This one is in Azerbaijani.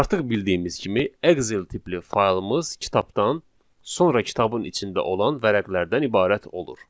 Artıq bildiyimiz kimi Excel tipli faylımız kitabdan, sonra kitabın içində olan vərəqlərdən ibarət olur.